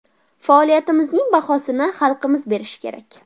Faoliyatimizning bahosini xalqimiz berishi kerak.